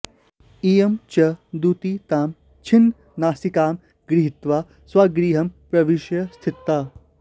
इयं च दूती तां छिन्ननासिकां गृहीत्वा स्वगृहं प्रविश्य स्थिता